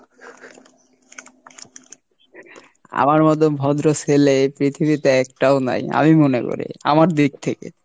আমার মতো ভদ্র ছেলে এই পৃথিবীতে একটাও নেই, আমি মনে করি আমার দিক থেকে।